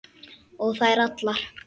Og þær allar.